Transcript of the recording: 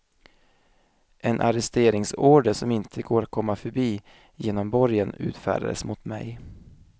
En arresteringsorder som inte går att komma förbi genom borgen utfärdades mot mig.